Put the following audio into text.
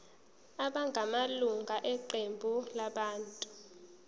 abangamalunga eqembu labantu